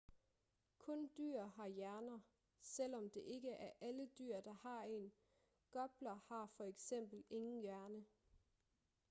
kun dyr har hjerner selvom det ikke er alle dyr der har en; gopler har for eksempel ingen hjerne